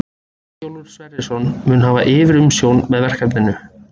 Eyjólfur Sverrisson mun hafa yfirumsjón með verkefninu.